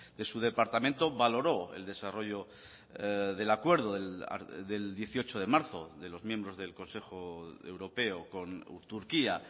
de su departamento valoró el desarrollo del acuerdo del dieciocho de marzo de los miembros del consejo europeo con turquía